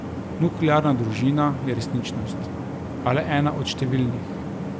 Nuklearna družina je resničnost, a le ena od številnih.